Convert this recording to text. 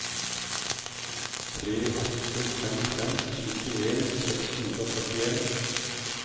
tre åtte fem fem syttien seks hundre og førtien